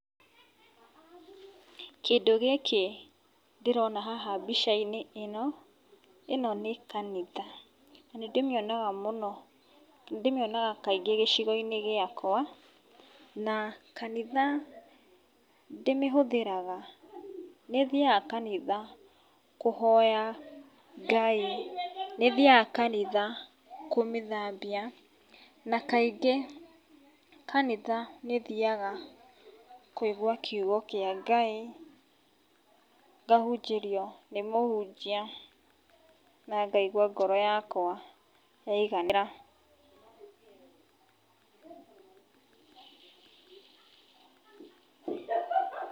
Kĩndũ gĩkĩ ndĩrona haha mbica-inĩ ĩno, ĩno nĩ kanitha na nĩ ndĩmĩonaga mũno, nĩ ndĩmĩonaga kaingĩ gĩcigo-inĩ gĩakwa. Na kanitha ndĩmĩhũthĩraga, nĩ thiaga kanitha kũhoya Ngai, nĩ thiaga kanitha kũmĩthambia, na kaingĩ kanitha nĩ thiaga kũigua kiugo kĩa Ngai, ngahunjĩrio nĩ mũhunjia, na ngaigua ngoro yakwa yaiganĩra.